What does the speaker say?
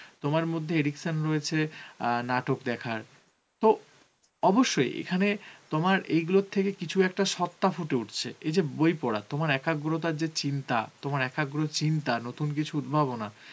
তোমার মধ্যে addiction রয়েছে নাটক দেখার. তো অবশ্যই এখানে তোমার এইগুলো থেকে কিছু একটা সত্তা ফুটে উঠছে. এই যে বই পড়া তোমার একাগ্রতার যে চিন্তা, তোমার একাগ্র চিন্তা, নতুন কিছু উদ্ভাবনা